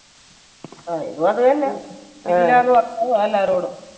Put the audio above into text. ആ ഇതും അത് തന്നാ. കിലുകിലാന്ന് വർത്തനമാ എല്ലാവരോടും.